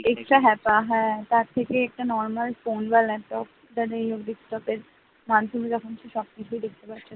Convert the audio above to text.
extra হ্যাপা তার থেকে একটা normal ফোন বা ল্যাপটপ বা যেই হোক ডেস্কটপের সব কিছুই দেখতে পাচ্ছে,